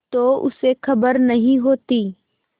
तो उसे खबर नहीं होती